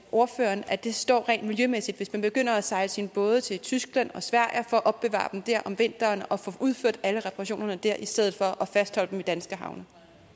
ordføreren at det står rent miljømæssigt hvis man begynder at sejle sine både til tyskland og sverige for at opbevare dem der om vinteren og få udført alle reparationerne der i stedet for at fastholde dem i danske havne